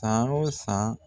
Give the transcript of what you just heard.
San o san.